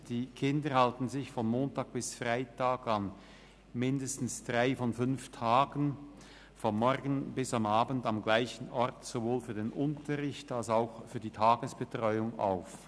Die Kinder halten sich von Montag bis Freitag an mindestens drei von fünf Tagen vom Morgen bis am Abend am selben Ort sowohl für den Unterricht als auch für die Tagesbetreuung auf.